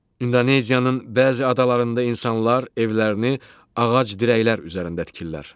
İndoneziyanın bəzi adalarında insanlar evlərini ağac dirəklər üzərində tikirlər.